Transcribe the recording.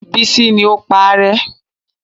Bísí ní o paárẹ́